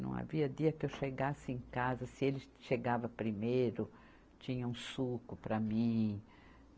Não havia dia que eu chegasse em casa, se ele chegava primeiro, tinha um suco para mim.